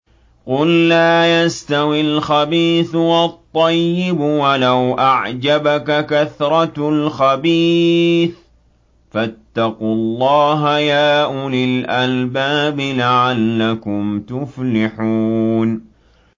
قُل لَّا يَسْتَوِي الْخَبِيثُ وَالطَّيِّبُ وَلَوْ أَعْجَبَكَ كَثْرَةُ الْخَبِيثِ ۚ فَاتَّقُوا اللَّهَ يَا أُولِي الْأَلْبَابِ لَعَلَّكُمْ تُفْلِحُونَ